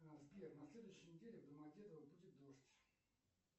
сбер на следующей неделе в домодедово будет дождь